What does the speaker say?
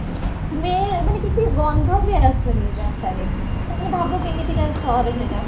smell ମାନେ କିଛି ଗନ୍ଧ ବି ଆସୁଣୀ ରାସ୍ତାରେ ମାନେ ଭାବ କେମିତିକା ସହର ସେଟା